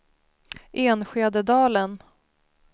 Enskededalen